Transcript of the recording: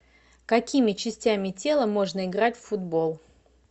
какими частями тела можно играть в футбол